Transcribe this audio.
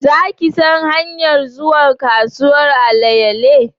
Za ki san hanyar zuwa kasuwan alayale?